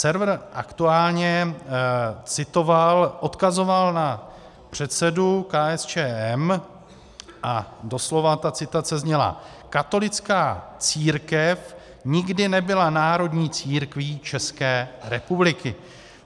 Server Aktuálně citoval, odkazoval na předsedu KSČM a doslova ta citace zněla: "Katolická církev nikdy nebyla národní církví České republiky.